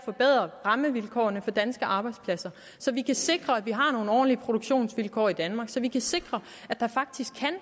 forbedre rammevilkårene for danske arbejdspladser så vi kan sikre at vi har nogle ordentlige produktionsvilkår i danmark så vi kan sikre at der faktisk kan